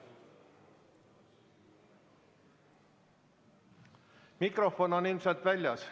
Mikrofon on ilmselt väljas.